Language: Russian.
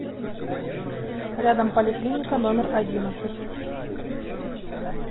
рядом поликлиника номер одиннадцать